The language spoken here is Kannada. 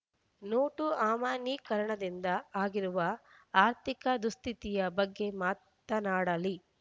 ನೋಟು ಅಮಾನ್ಯೀಕರಣದಿಂದ ಆಗಿರುವ ಅರ್ಥಿಕ ದುಸ್ಥಿತಿಯ ಬಗ್ಗೆ ಮಾತನಾಡಲಿ